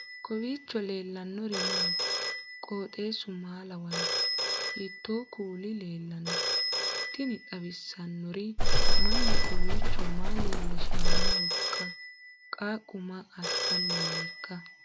kowiicho leellannori maati ? qooxeessu maa lawaanno ? hiitoo kuuli leellanno ? tini xawissannori mannu kowwiicho maaa leellishshannohoikka qaqu maa assanni nooiika